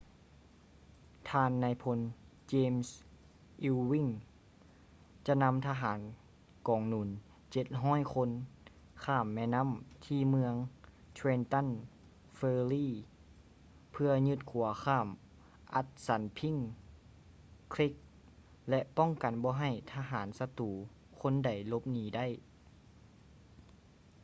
ທ່ານນາຍພົນ ເຈມສ໌ ອີວວິ້ງ james ewing ຈະນຳທະຫານກອງໜູນ 700 ຄົນ ຂ້າມແມ່ນໍ້າທີ່ເມືອງ ເທຼນຕັນ ເຟີຣີ່ trenton ferry ເພື່ອຢຶດຂົວຂ້າມ ອັດສັນພິ້ງ ຄຼີກ assunpink creek ແລະ ປ້ອງກັນບໍ່ໃຫ້ທະຫານສັດຕູຄົນໃດຫຼົບໜີໄດ້